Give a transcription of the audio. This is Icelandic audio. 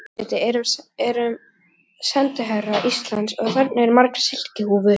Vigdís forseti erum sendiherrar Íslands og þarna eru margar silkihúfur.